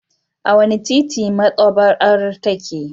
A wane titi maɗaba'ar take?